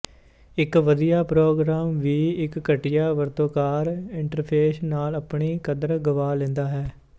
ਇੱਕ ਵਧੀਆ ਪ੍ਰੋਗਰਾਮ ਵੀ ਇੱਕ ਘਟੀਆ ਵਰਤੋਂਕਾਰ ਇੰਟਰਫ਼ੇਸ ਨਾਲ਼ ਆਪਣੀ ਕਦਰ ਗਵਾ ਲੈਂਦਾ ਹੈ